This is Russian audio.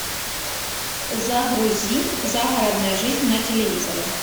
загрузи загородная жизнь на телевизоре